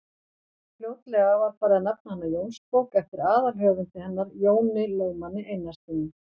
Fljótlega var farið að nefna hana Jónsbók eftir aðalhöfundi hennar, Jóni lögmanni Einarssyni.